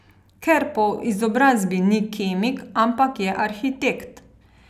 Ker po izobrazbi ni kemik, ampak je arhitekt.